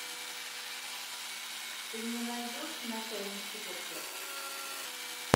ты мне найдешь начальник чукотки